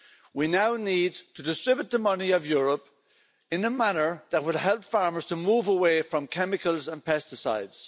We now need to distribute the money of Europe in a manner that would help farmers to move away from chemicals and pesticides.